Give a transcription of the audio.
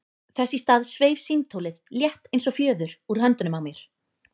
Þess í stað sveif símtólið, létt eins og fjöður, úr höndunum á mér.